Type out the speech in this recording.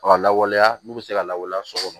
A ka lawaleya n'u bɛ se ka lawaleya so kɔnɔ